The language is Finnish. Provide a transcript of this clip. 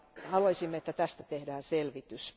Haluaisimme, että tästä tehdään selvitys.